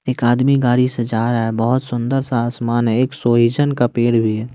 एक आदमी गाड़ी से जा रहा है बहोत सुंदर सा आसमान है एक सोईजन का पेड़ भी है।